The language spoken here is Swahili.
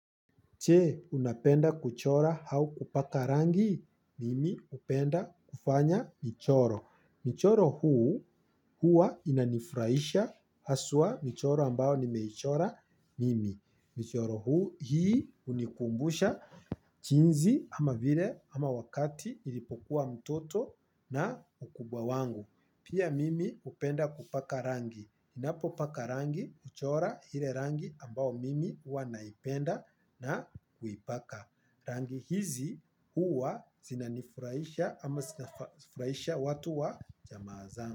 Je unapenda kuchora au kupaka rangi, mimi hupenda kufanya michoro. Michoro huu hua inanifurahisha haswa michoro ambao nimeichora mimi. Michoro huu hii unikumbusha jinsi ama vile ama wakati ilipokuwa mtoto na ukubwa wangu. Pia mimi hupenda kupaka rangi ninapopaka rangi, huchora ile rangi ambao mimi huwa naipenda na kuipaka. Rangi hizi huwa zina nifurahisha ama zinafurahisha watu wa jamaa zangu.